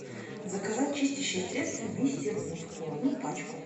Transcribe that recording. заказать чистящее средство мистер мускул одну пачку